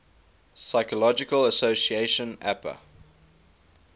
psychological association apa